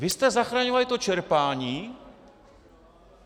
Vy jste zachraňovali to čerpání?